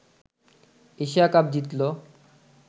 Asia cup জিতলো